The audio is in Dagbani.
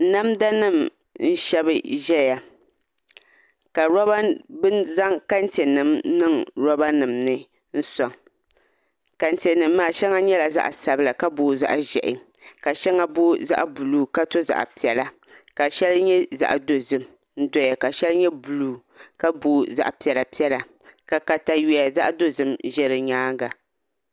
Namda nim n shɛbi ʒɛya ka bi zaŋ kɛntɛ nim n niŋ roba nim ni n soŋ kɛntɛ nim maa shɛŋa nyɛla zaɣ sabila ka booi zaɣ ʒiɛhi ka shɛŋa booi zaɣ buluu ka to zaɣ piɛla ka shɛŋa nyɛ zaɣ dozim n doya ka shɛli nyɛ buluu ka booi zaɣ piɛla piɛla ka katawiya zaɣ dozim ʒɛ di nyaanga